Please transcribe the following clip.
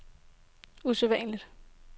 usædvanlig